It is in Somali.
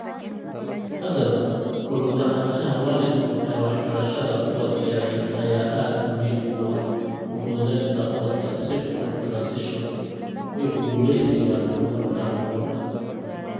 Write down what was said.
Haddaba, ku lug lahaanshaha waalidku ee waxbarashada ubadka yaryar ayaa aad muhiim ugu ah ufududeynta ubadka si fudud t ransition iyo ku guulaysiga horumarka horumarka.